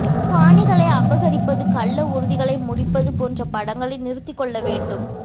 காணிகளை அபகரிப்பது கள்ள உறுதிகளை முடிப்பது போன்ற படங்களை நிறுத்திக்கொள்ள வேண்டும்